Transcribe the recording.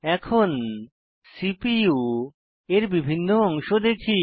এখন সিপিইউ এর বিভিন্ন অংশ দেখি